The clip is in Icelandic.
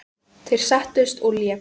Þeir settust og léku.